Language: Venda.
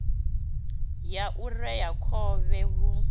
ya u rea khovhe hu